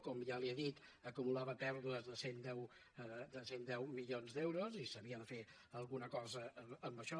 com ja li he dit acumulava pèrdues de cent i deu milions d’euros i s’havia de fer alguna cosa amb això